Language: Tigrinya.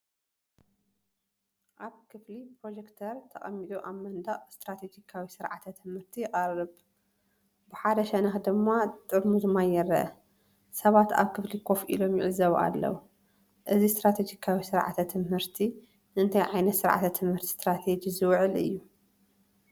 ኣብ ክፍሊ ፕሮጀክተር ተቐሚጡ ኣብ መንደቕ ስትራተጂካዊ ስርዓተ ትምህርቲ ይቐርብ። ብሓደ ሸነኽ ድማ ጥርሙዝ ማይ ይርአ። ሰባት ኣብ ክፍሊ ኮፍ ኢሎም ይዕዘቡ ኣለዉ። እዚ ስትራተጂካዊ ስርዓተ ትምህርቲ ንእንታይ ዓይነት ስርዓተ ትምህርቲ ስትራተጂ ዝውዕል እዩ?